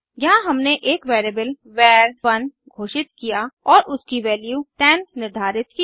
यहाँ हमने एक वेरिएबल वर1 घोषित किया और उसकी वैल्यू 10 निर्धारित की